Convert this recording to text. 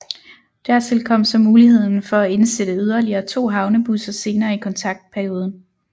Dertil kom så muligheden for at indsætte yderligere to havnebusser senere i kontraktperioden